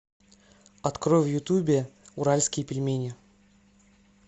открой в ютубе уральские пельмени